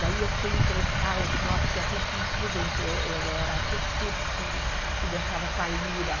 Daí eu fui emprestar os, porque a gente tinha um instrumento, eu eu era a, que dançava com a lira.